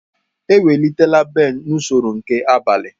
Ewelitela Ben n'usoro nke abalị.